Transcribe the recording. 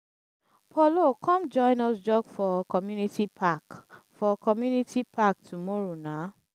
paulo come join us jog for community park for community park tomorrow nah